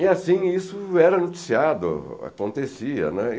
E assim, isso era noticiado, acontecia, né